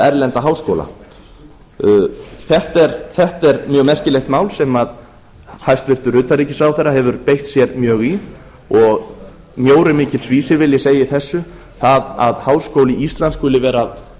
erlenda háskóla þetta er mjög merkilegt mál sem hæstvirtur utanríkisráðherra hefur beitt sér mjög í og mjór er mikils vísir vil ég segja í þessu það að háskólinn